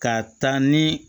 Ka taa ni